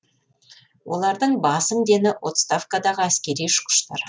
олардың басым дені отставкадағы әскери ұшқыштар